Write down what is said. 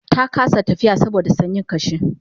ta kasa tafiya saboda sanyin kashi